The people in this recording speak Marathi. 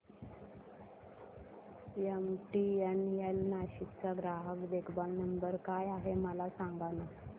एमटीएनएल नाशिक चा ग्राहक देखभाल नंबर काय आहे मला सांगाना